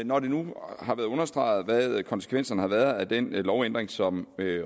når det nu er blevet understreget hvad konsekvenserne af den lovændring som